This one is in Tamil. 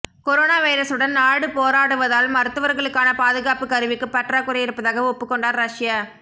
கொரோனா வைரஸுடன் நாடு போராடுவதால் மருத்துவர்களுக்கான பாதுகாப்பு கருவிக்கு பற்றாக்குறை இருப்பதாக ஒப்புக் கொண்டார் ரஷ்ய